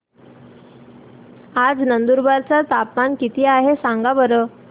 आज नंदुरबार चं तापमान किती आहे सांगा बरं